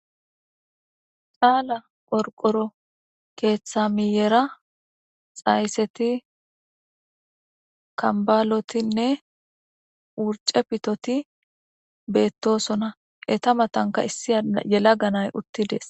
Cala qorqora ketha milera xayset,kambalotinne wurce pitot betosona , eta matanka issi gelaga nay utides.